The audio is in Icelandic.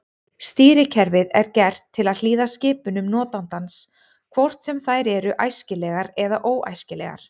Stýrikerfið er gert til að hlýða skipunum notandans hvort sem þær eru æskilegar eða óæskilegar.